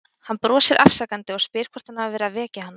Hann brosir afsakandi og spyr hvort hann hafi verið að vekja hana.